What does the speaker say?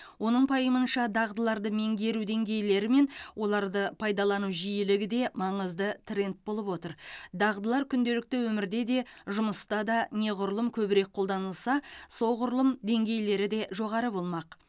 оның пайымынша дағдыларды меңгеру деңгейлері мен оларды пайдалану жиілігі де маңызды тренд болып отыр дағдылар күнделікті өмірде де жұмыста да неғұрлым көбірек қолданылса соғұрлым деңгейлері де жоғары болмақ